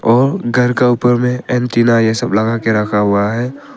और घर का ऊपर में एंटीना यह सब लगा के रखा हुआ है।